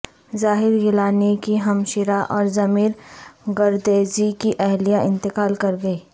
زاہد گیلانی کی ہمشیرہ اورضمیر گردیزی کی اہلیہ انتقال کر گئیں